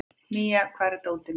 Mía, hvar er dótið mitt?